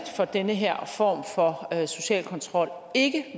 for den her form for social kontrol